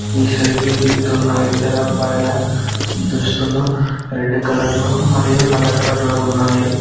ఈ సెల్ఫీ దిగుతున్న ఇద్దరు అబ్బాయిల దుస్తులు రెడ్ కలర్లో మరియు నల్ల కలర్ లో ఉన్నాయి.